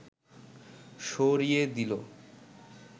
সরিয়ে দিল